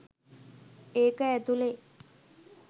ඒක ඇතුලේ